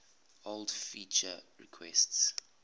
old feature requests